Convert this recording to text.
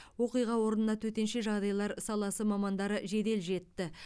оқиға орнына төтенше жағдайлар саласы мамандары жедел жетті